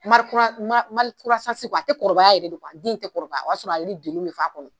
a tɛ kɔrɔbaya yɛrɛ de a den tɛ kɔrɔbaya o y'a sɔrɔ a don fo a kɔnɔ